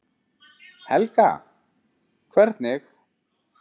Helga: Hvernig?